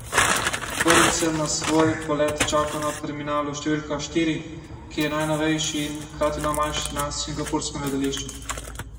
Prvič sem na svoj polet čakal na terminalu številka štiri, ki je najnovejši in hkrati najmanjši na singapurskem letališču.